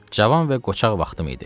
Cavan və qoçaq vaxtım idi.